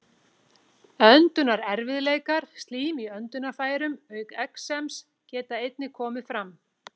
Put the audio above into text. Öndunarerfiðleikar, slím í öndunarfærum auk exems geta einnig komið fram.